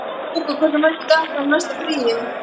Hugo, hversu margir dagar fram að næsta fríi?